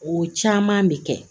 O caman bɛ kɛ